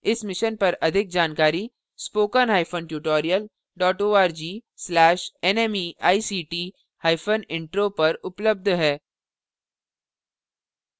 इस mission पर अधिक जानकारी spoken hyphen tutorial dot org slash nmeict hyphen intro पर उपलब्ध है